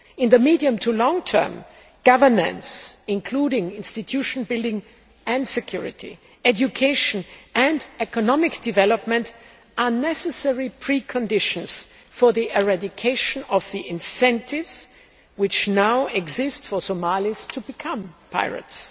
In the medium to long term, governance, including institution building and security, education and economic development are necessary preconditions for the eradication of the incentives which now exist for Somalis to become pirates.